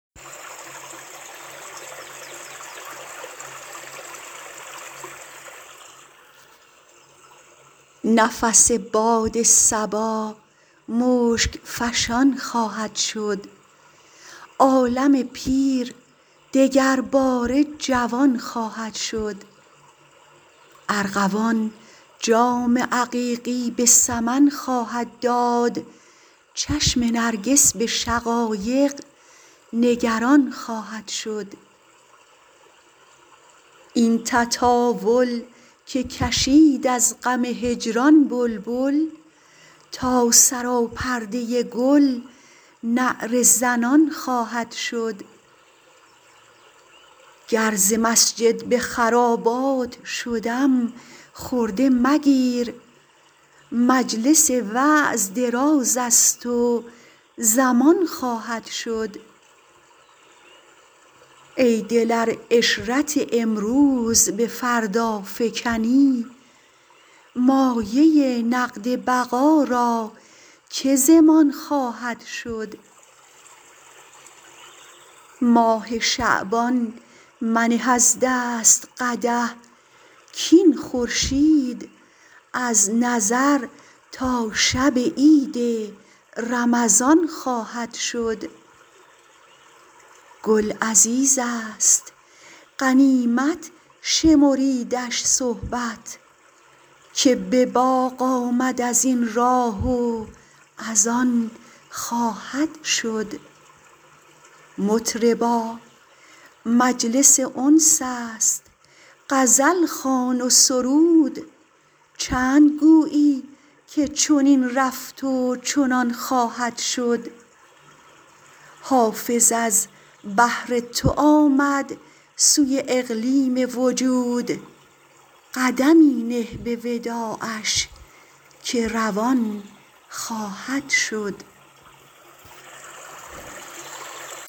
نفس باد صبا مشک فشان خواهد شد عالم پیر دگرباره جوان خواهد شد ارغوان جام عقیقی به سمن خواهد داد چشم نرگس به شقایق نگران خواهد شد این تطاول که کشید از غم هجران بلبل تا سراپرده گل نعره زنان خواهد شد گر ز مسجد به خرابات شدم خرده مگیر مجلس وعظ دراز است و زمان خواهد شد ای دل ار عشرت امروز به فردا فکنی مایه نقد بقا را که ضمان خواهد شد ماه شعبان منه از دست قدح کاین خورشید از نظر تا شب عید رمضان خواهد شد گل عزیز است غنیمت شمریدش صحبت که به باغ آمد از این راه و از آن خواهد شد مطربا مجلس انس است غزل خوان و سرود چند گویی که چنین رفت و چنان خواهد شد حافظ از بهر تو آمد سوی اقلیم وجود قدمی نه به وداعش که روان خواهد شد